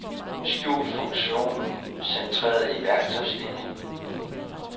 Skjul funktionen centreret i værktøjslinien.